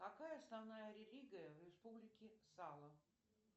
какая основная религия в республике сало